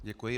Děkuji.